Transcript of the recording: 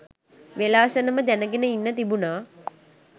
වේලාසනම දැන්ගෙන ඉන්න තිබුනා